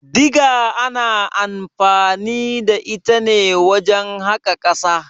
Diga ana anfani da ita ne wajen haƙa ƙasa.